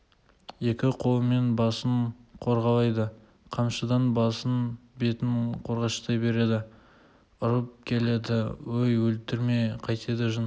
екі қолымен басын қорғалайды қамшыдан басын бетін қорғаштай береді ұрып келеді өй өлтіреме қайтеді жын